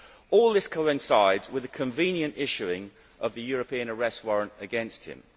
All this coincides with the convenient issuing of a European Arrest Warrant against him.